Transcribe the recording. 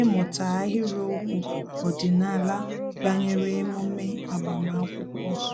ịmụta ahịrịokwu ọdịnala banyere emume agbamakwụkwọ ha